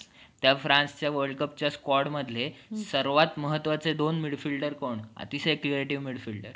छावा तु जिजाऊचा, स्वराज्याचा घेतला तु ध्यास, मूठभर मावळ्यांना सांगि~ तले, त्यामुळे रचला इतिहास.